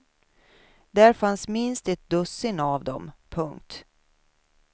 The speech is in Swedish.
Där fanns minst ett dussin av dem. punkt